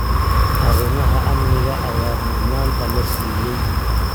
Arrimaha amniga ayaa mudnaanta la siiyey.